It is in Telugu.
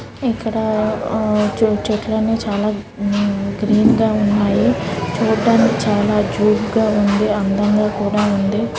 ఇక్కడ చిన్న చిన్న చెట్లు ఉన్నాయి. చాలా గ్రీన్ గాఉన్నాయి. చూడ్డానికి చాలా క్యూట్ గా ఉంది. అందంగా కూడా ఉంది.